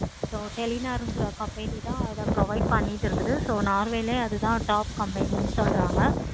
so கிரா company தான் அத provide பண்ணிட்டு இருக்குது. so norway ளையும் அது தான் top company சொல்ராங்க.